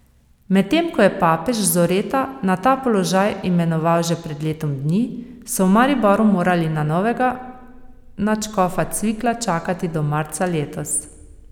Medtem ko je papež Zoreta na ta položaj imenoval že pred letom dni, so v Mariboru morali na novega nadškofa Cvikla čakati do marca letos.